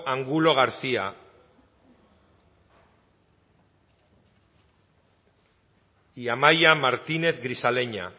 angulo garcía amaia martínez grisaleña